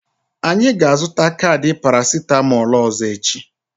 Anyị ga-azụta kaadị parasitamolu ọzọ echi.